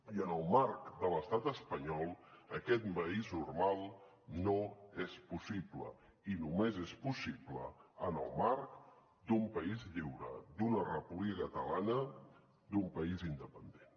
i en el marc de l’estat espanyol aquest país normal no és possible i només és possible en el marc d’un país lliure d’una república catalana d’un país independent